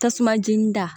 Tasuma jeni da